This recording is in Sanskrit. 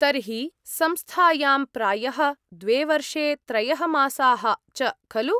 तर्हि, संस्थायां प्रायः द्वे वर्षे त्रयः मासाः च खलु?।